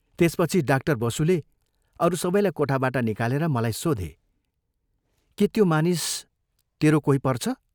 त्यसपछि डाक्टर बसुले अरू सबैलाई कोठाबाट निकालेर मलाई सोधे, "के त्यो मानिस तेरो कोही पर्छ?